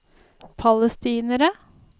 palestinere